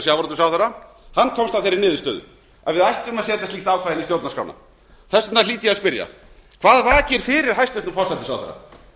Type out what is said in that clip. sjávarútvegsráðherra hann komst að þeirri niðurstöðu að við ættum að setja slíkt ákvæði inn í stjórnarskrána þess vegna hlýt ég að spyrja hvað vakir fyrir hæstvirtan forsætisráðherra